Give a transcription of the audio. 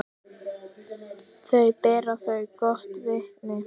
Þau bera þér gott vitni.